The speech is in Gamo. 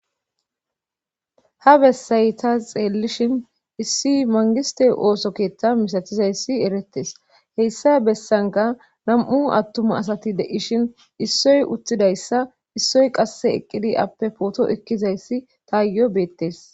Ha bessay ta xeellishin issi mangiste ooso keetta misatizayssi eretes heyssa bessanka nam7u attuma asati de7ishin issoy uttidayssa issoy qasse eqqidi appe pooto ekkizayssi tayo beettes